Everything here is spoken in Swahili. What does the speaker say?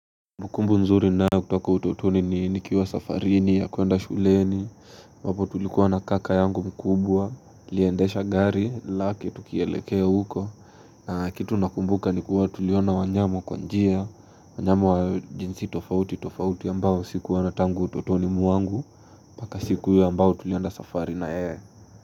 Kumbukumbu nzuri ninayo kutoka utotoni ni nikiwa safarini ya kuenda shuleni ambapo tulikuwa na kaka yangu mkubwa niLiendesha gari lake tukielekea huko na kitu nakumbuka ni kuwa tuliona wanyama kwa njia wanyama wa jinsi tofauti tofauti ambao sikuona tangu utotoni mwangu Paka siku hiyo ambayo tulienda safari na yeye.